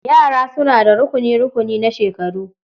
Yara suna da rukuni-rukuni na shekaru.